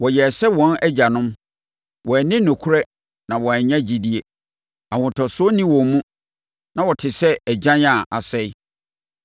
Wɔyɛɛ sɛ wɔn agyanom, wɔanni nokorɛ na wɔannya gyidie, ahotosoɔ nni wɔn mu, na wɔte sɛ agyan a asɛe.